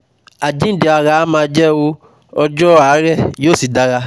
Àjíǹde ara á máa jẹ́ o ọjọ́ ọ̀a rẹ̀ yóò sì dára